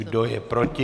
Kdo je proti?